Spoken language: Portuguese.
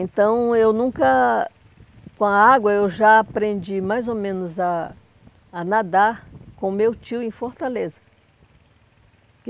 Então, eu nunca... Com a água, eu já aprendi mais ou menos a a nadar com o meu tio em Fortaleza.